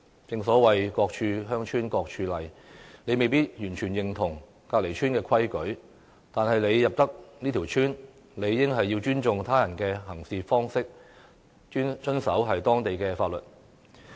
正所謂"各處鄉村各處例"，即使不認同鄰村的規矩，但要入村，理應也要尊重別人的行事方式，遵守當地的法律。